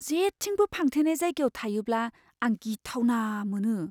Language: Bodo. जेथिंबो फांथेनाय जायगायाव थायोब्ला, आं गिथावना मोनो।